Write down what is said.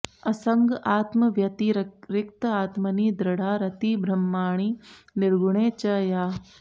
असङ्ग आत्मव्यतिरिक्त आत्मनि दृढा रतिर्ब्रह्मणि निर्गुणे च या